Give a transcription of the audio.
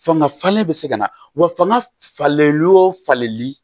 Fanga falen bɛ se ka na wa fanga falen o falenli